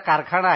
कारखाना आहे